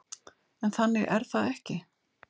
En þannig er það ekki.